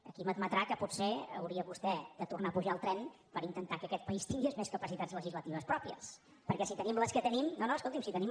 aquí m’admetrà que potser hauria vostè de tornar a pujar al tren per intentar que aquest país tingués més capacitats legislatives pròpies perquè si tenim les que tenim